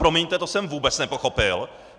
Promiňte, to jsem vůbec nepochopil.